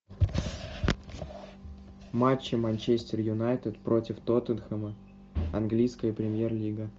матчи манчестер юнайтед против тоттенхэма английская премьер лига